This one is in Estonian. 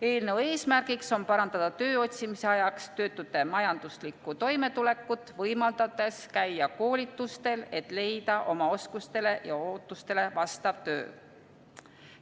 Eelnõu eesmärgiks on parandada töö otsimise ajaks töötute majanduslikku toimetulekut, võimaldades käia koolitustel, et leida oma oskustele ja ootustele vastav töö.